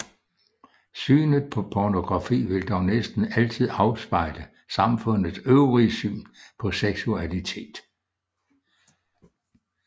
Synet på pornografi vil dog næsten altid afspejle samfundets øvrige syn på seksualitet